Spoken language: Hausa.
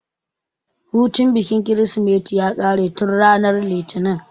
Hutun bikin kirismeti ya ƙare tun ranar litinin